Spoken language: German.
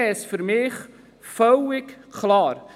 Dann wäre es für mich völlig klar.